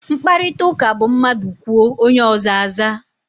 Mkparịtaụka bụ mmadụ kwuo, onye ọzọ aza.